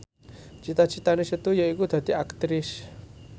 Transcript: cita citane Setu yaiku dadi Aktris